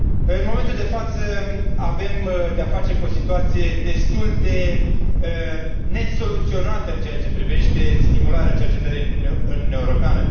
În momentul de față avem de a face cu o situație destul de nesoluționată în ceea ce privește stimularea cercetării în Uniunea Europeană.